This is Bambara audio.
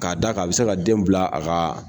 K'a da a bɛ se ka den bila a ka.